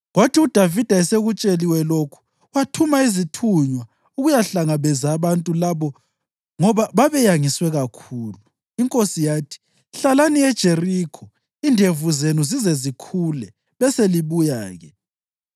Kwathi uDavida esekutsheliwe lokhu wathuma izithunywa ukuyahlangabeza abantu labo ngoba babeyangiswe kakhulu. Inkosi yathi, “Hlalani eJerikho indevu zenu zize zikhule beselibuya-ke.”